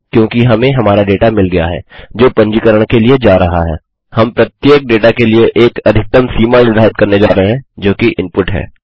क्योंकि हमें हमारा डेटा मिल गया है जो पंजीकरण के लिए जा रहा है हम प्रत्येक डेटा के लिए एक अधिकतम सीमा निर्धारित करने जा रहे हैं जोकि इनपुट है